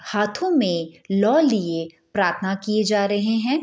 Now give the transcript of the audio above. हाथोमें लो लिए प्रार्थना किये जा रहे हैं।